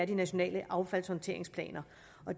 de nationale affaldshåndteringsplaner